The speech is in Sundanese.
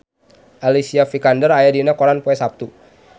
Alicia Vikander aya dina koran poe Saptu